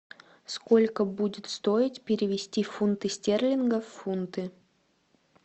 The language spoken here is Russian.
сколько будет стоить перевести фунты стерлингов в фунты